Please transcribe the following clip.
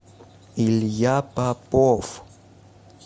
илья попов